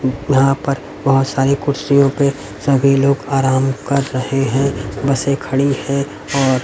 यहां पर बहुत सारी कुर्सियों पे सभी लोग आराम कर रहे हैं बसें खड़ी हैं और--